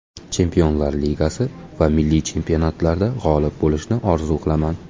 Chempionlar Ligasi va milliy chempionatlarda g‘olib bo‘lishni orzu qilaman.